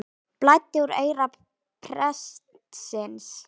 Blæddi úr eyra prestsins